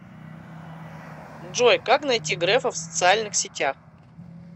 джой как найти грефа в социальных сетях